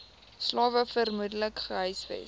slawe vermoedelik gehuisves